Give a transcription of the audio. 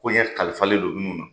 Koɲɛ kalifalen don munnu na.